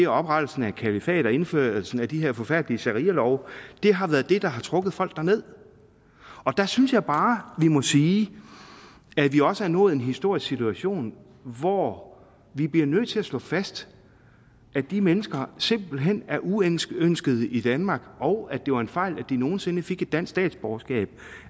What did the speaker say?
oprettelsen af kalifatet og indførelsen af de her forfærdelige sharialove har været det der har trukket folk derned og der synes jeg bare vi må sige at vi også har nået en historisk situation hvor vi bliver nødt til at slå fast at de mennesker simpelt hen er uønskede i danmark og at det var en fejl at de nogen sinde fik et dansk statsborgerskab